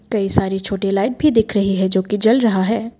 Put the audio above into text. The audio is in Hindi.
कई सारी छोटी लाइट भी दिख रही है जो कि जल रहा है।